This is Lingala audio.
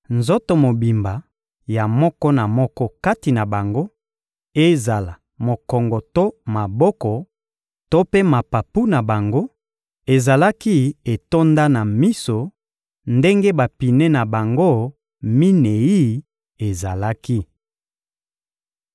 Nzoto mobimba ya moko na moko kati na bango, ezala mokongo to maboko to mpe mapapu na bango, ezalaki etonda na miso, ndenge bapine na bango minei ezalaki.